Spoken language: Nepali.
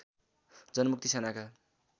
जनमुक्ति सेनाका